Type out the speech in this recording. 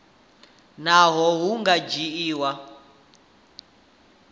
nahone a hu nga dzhiwi